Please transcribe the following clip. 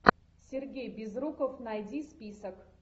сергей безруков найди список